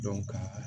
ka